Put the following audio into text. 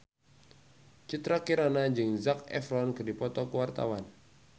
Citra Kirana jeung Zac Efron keur dipoto ku wartawan